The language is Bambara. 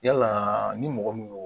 Yala ni mɔgɔ mun y'o